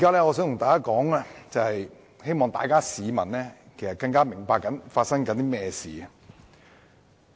我現在發言是希望市民更清楚明白正在發生甚麼事情。